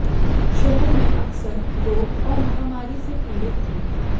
शहर में अक्सर रोग और महामारी से पीड़ित थे